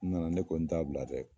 N nana ne ko n t'a bila dɛ